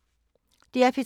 DR P3